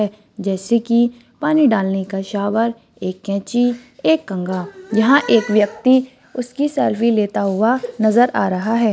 जैसे की पानी डालने का शावर एक कैंची एक कंगा यहां एक व्यक्ति उसकी सेल्फी लेते हुए नजर आ रहा है।